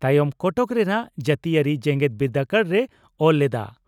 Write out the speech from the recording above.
ᱛᱟᱭᱚᱢ ᱠᱚᱴᱚᱠ ᱨᱮᱱᱟᱜ ᱡᱟᱹᱛᱤᱭᱟᱹᱨᱤ ᱡᱮᱜᱮᱛ ᱵᱤᱨᱫᱟᱹᱜᱟᱲ ᱨᱮ ᱚᱞ ᱞᱮᱫᱼᱟ ᱾